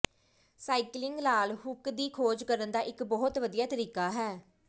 cycling ਲਾਲ ਹੁੱਕ ਦੀ ਖੋਜ ਕਰਨ ਦਾ ਇੱਕ ਬਹੁਤ ਵਧੀਆ ਤਰੀਕਾ ਹੈ